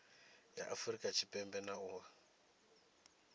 ya afurika tshipembe na u